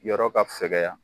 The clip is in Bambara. Yɔrɔ ka fɛgɛya.